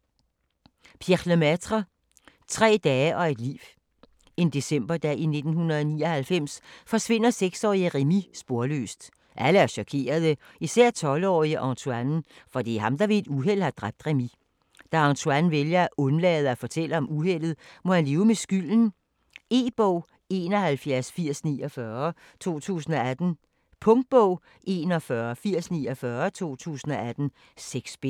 Lemaitre, Pierre: Tre dage og et liv En decemberdag i 1999 forsvinder seksårige Rémi sporløst. Alle er chokerede, især 12-årige Antoine, for det er ham der ved et uheld har dræbt Rémi. Da Antoine vælger at undlade at fortælle om uheldet, må han leve med skylden. E-bog 718049 2018. Punktbog 418049 2018. 6 bind.